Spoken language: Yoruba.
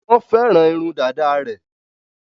Wọ́n fẹ́ràn irun dàda rẹ̀.